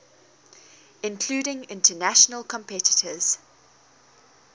including international competitors